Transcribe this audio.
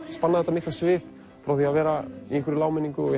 spannað þetta mikla svið frá því að vera í hámenningu og